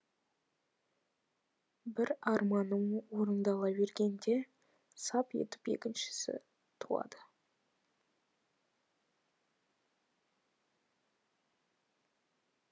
бір арманым орындала бергенде сап етіп екіншісі туады